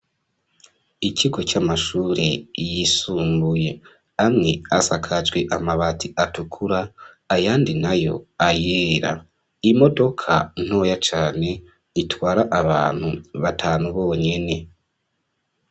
Ikigo c'amashure yisumbuye amwe asakajwi amabati atukura ayandi na yo ayera imodoka ntoya cane itwara abantu batanu bonyene.